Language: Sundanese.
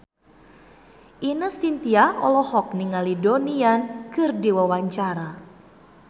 Ine Shintya olohok ningali Donnie Yan keur diwawancara